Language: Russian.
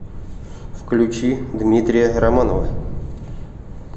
включи дмитрия романова